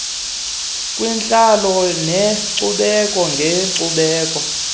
kwiintlalo neenkcubeko ngeenkcubeko